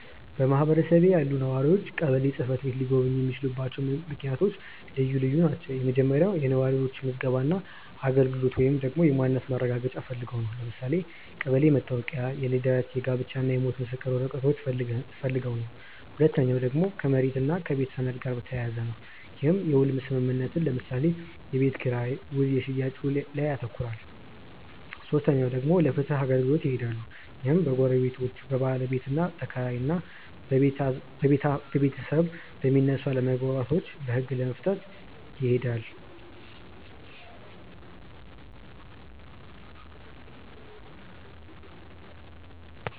በማህበረሰቤ ያሉ ነዋሪዎች ቀበሌ ጽ/ቤት ሊጎበኙ የሚችሉበት ምክንያት ልዩ ልዩ ናቸው። የመጀመሪያው የነዋሪነት ምዝገባ እና አገልግሎት ወይንም ደግሞ የማንነት ማረጋገጫ ፈልገው ነው። ለምሳሌ የቀበሌ መታወቂያ፣ የልደት፣ የጋብቻ እና የሞት ምስክር ወረቀቶችን ፈልገው ነው። ሁለተኛው ደግሞ ከመሬት እና ከቤት ሰነድ ጋር በተያያዘ ነው። ይህም የውል ስምምነትን ለምሳሌ የቤት ኪራይ ውል የሽያጭ ውልን ያካትታል። ሶስተኛው ደግሞ ለፍትህ አገልግሎት ይሄዳሉ። ይህም በጎረቤቶች፣ በባለቤትና ተከራይ እና በቤታብ የሚነሱ አለመግባባቶችን በህግ ለመፍታት ይኬዳል።